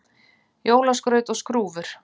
Jólaskraut og skrúfur